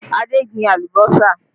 Adé gbìn alùbọ́sà